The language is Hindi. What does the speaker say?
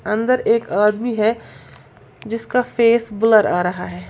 अन्दर एक आदमी है जिसका फेस ब्लर आ रहा है।